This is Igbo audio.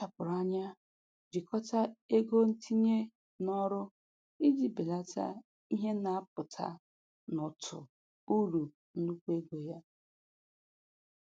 Ọ kpachapụrụ anya jikọta ego ntinye n'ọrụ iji belata ihe na-apụta n'ụtụ uru nnukwu ego.